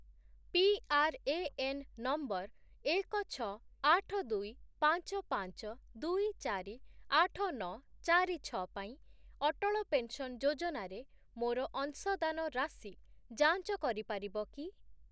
PRAN number ଏକ, ଛଅ, ଆଠ, ଦୁଇ, ପାଞ୍ଚ, ପାଞ୍ଚ, ଦୁଇ, ଚାରି, ଆଠ, ନଅ, ଚାରି, ଛଅ ପାଇଁ ଅଟଳ ପେନ୍‌ସନ୍ ଯୋଜନାରେ ମୋର ଅଂଶଦାନ ରାଶି ଯାଞ୍ଚ କରିପାରିବ କି?